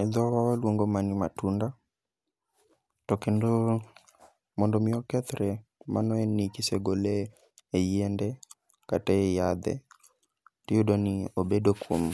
E dhowa waluongo ma ni matunda, to kendo mondo mi okethre, mano en ni kisegole e yiende kata e yadhe. Tiyudo ni obedo kuom